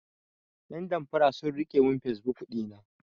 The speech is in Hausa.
Yan damfara sun rike mun fesbuk ɗina.